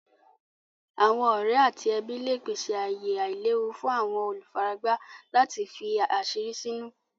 Àwọn ọ̀rẹ̀ àti ẹbí lẹ pèsè ayè àìlèwú fún àwọn olúfáràgbá láti fí àṣírí sínú.